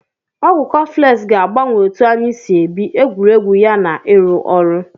Ọgwụ kọflx ga-agbanwe otu anyị si ebi, egwuregwu ya na arụ ọrụ.